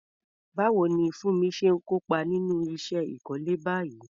Báwo ni Funmi ṣe kópa nínú iṣẹ́ ìkọ́lé báyìí?